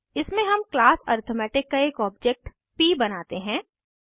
इसमें हम class arithmetic का एक ऑब्जेक्ट प बनाते हैं